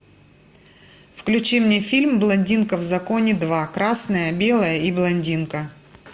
включи мне фильм блондинка в законе два красное белое и блондинка